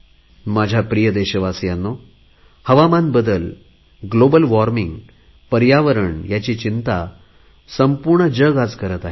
माझ्या प्रिय देशवासियांनो हवामान बदल ग्लोबल वॉर्मिंग पर्यावरण यांची चिंता संपूर्ण जग आज करत आहे